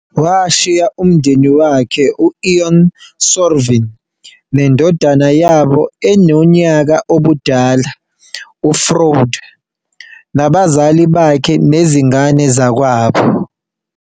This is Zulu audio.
Washiya umyeni wakhe, u-Ion Sørvin, nendodana yabo enonyaka ubudala, uFrode, nabazali bakhe nezingane zakwabo.